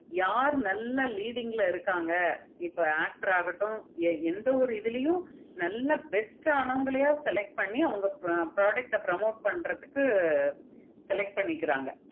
யாரு நல்ல leading ல இருக்காங்க இப்ப actor ஆஹ் இருக்கட்டும் எந்த பாரு இதுலயும் நல்ல best ஆனவங்கள select பண்ணி அவங்க product ஆஹ் promote பண்றதுக்கு select பண்ணிக்கிறாங்க